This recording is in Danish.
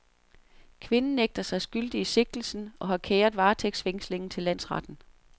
Kvinden nægter sig skyldig i sigtelsen og har kæret varetægtsfængslingen til landsretten.